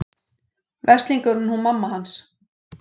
Veslingurinn hún mamma hans.